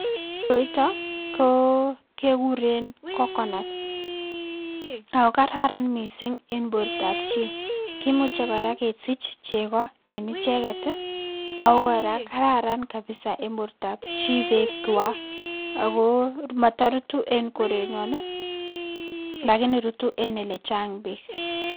Koroitok koo kekuren coconut ako kararan missing en bortab chii kimuche koraa kesich cheko en icheket tii ako koraa kararan kabisa en bortab chii beek kwak ako motorutu en korenyon nii lakini rutu en olechang beek.